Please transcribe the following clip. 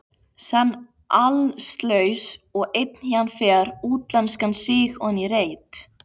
Senn allslaus og einn héðan fer, útlenskan síg oní reit.